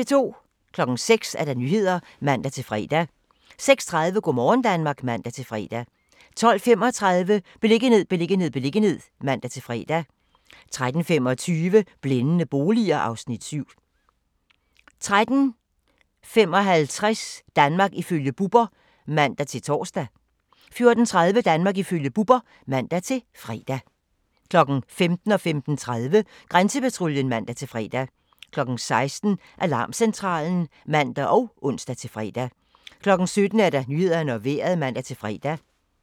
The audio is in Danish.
06:00: Nyhederne (man-fre) 06:30: Go' morgen Danmark (man-fre) 12:35: Beliggenhed, beliggenhed, beliggenhed (man-fre) 13:25: Blændende boliger (Afs. 7) 13:55: Danmark ifølge Bubber (man-tor) 14:30: Danmark ifølge Bubber (man-fre) 15:00: Grænsepatruljen (man-fre) 15:30: Grænsepatruljen (man-fre) 16:00: Alarmcentralen (man og ons-fre) 17:00: Nyhederne og Vejret (man-fre)